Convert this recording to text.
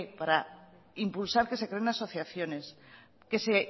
para impulsar que se creen asociaciones que se